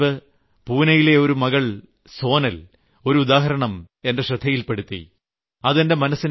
കുറച്ചു ദിവസംമുമ്പ് ഞാൻ പൂനയിലെ ഒരു മകൾ സോനൽ ഒരുദാഹരണം എന്റെ ശ്രദ്ധയിൽപ്പെടുത്തി